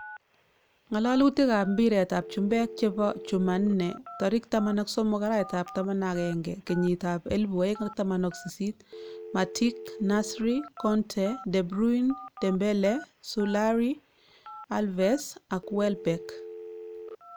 Ng'alalutik ab mpiret ab chumpek chebo chumanne: 13.11.2018: Matic, Nasri, Conte, De Bruyne, Dembele, Solari, Alves ak Welbek